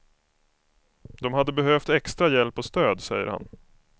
De hade behövt extra hjälp och stöd, säger han.